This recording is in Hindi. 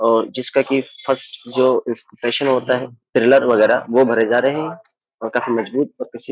और जिसका कि फर्स्ट जो इंस्पेशन होता है फिल्लर वगैरह वो भरे जा रहे हैं और काफी मजबूत और --